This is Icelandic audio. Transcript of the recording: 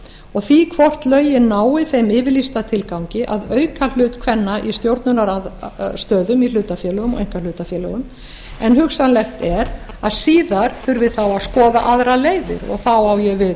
og því hvort lögin nái þeim yfirlýsta tilgangi að auka hlut kvenna í stjórnunarstöðum í hlutafélögum og einkahlutafélögum en hugsanlegt er að síðar þurfi þá að skoða aðrar leiðir og þá á ég við